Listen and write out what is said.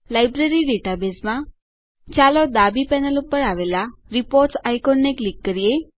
library ડેટાબેઝમાં ચાલો ડાબી પેનલ ઉપર આવેલા રિપોર્ટ્સ આઇકોનને ક્લિક કરીએ